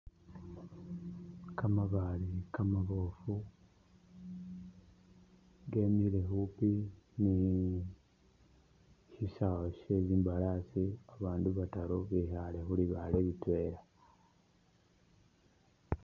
Ka mabaale kamabofu kemile khupi ni shisawe she imbalasi ba bandu bataru bekhale khulibaale li twela.